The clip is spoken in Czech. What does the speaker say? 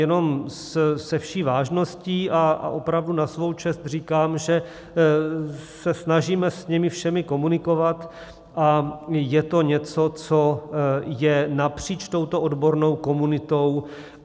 Jenom se vší vážností a opravdu na svou čest říkám, že se snažíme s nimi všemi komunikovat a je to něco, co je napříč touto odbornou komunitou.